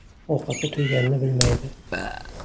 Ovqatga to‘yganini bilmaydi.